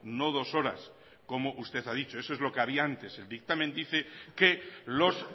no dos horas como usted ha dicho eso es lo que había antes el dictamen dice que los